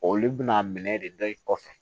Olu bɛna minɛ de da i kɔfɛ